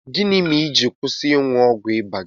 Gịnị mere i ji kwụsị ịṅụ ọgwụ ịba gị?